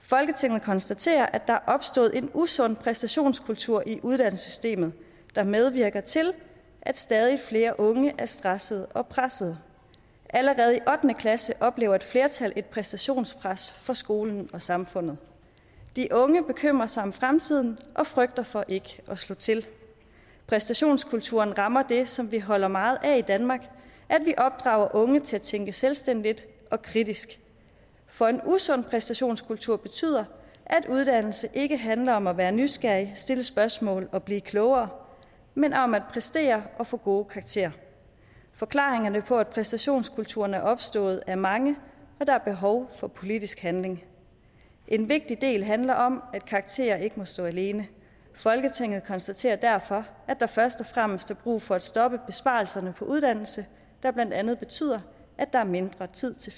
folketinget konstaterer at der er opstået en usund præstationskultur i uddannelsessystemet der medvirker til at stadig flere unge er stressede og pressede allerede i ottende klasse oplever et flertal et præstationspres fra skolen og samfundet de unge bekymrer sig om fremtiden og frygter for ikke at slå til præstationskulturen rammer det som vi holder meget af i danmark at vi opdrager unge til at tænke selvstændigt og kritisk for en usund præstationskultur betyder at uddannelse ikke handler om at være nysgerrig stille spørgsmål og blive klogere men om at præstere og få gode karakterer forklaringerne på at præstationskulturen er opstået er mange der er behov for politisk handling en vigtig del handler om at karakterer ikke må stå alene folketinget konstaterer derfor at der først og fremmest er brug for at stoppe besparelserne på uddannelse der blandt andet betyder at der er mindre tid til